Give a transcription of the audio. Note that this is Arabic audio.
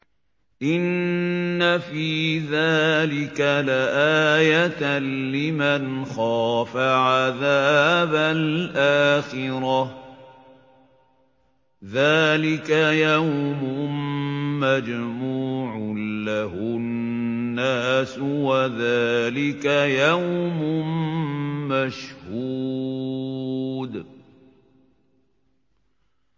إِنَّ فِي ذَٰلِكَ لَآيَةً لِّمَنْ خَافَ عَذَابَ الْآخِرَةِ ۚ ذَٰلِكَ يَوْمٌ مَّجْمُوعٌ لَّهُ النَّاسُ وَذَٰلِكَ يَوْمٌ مَّشْهُودٌ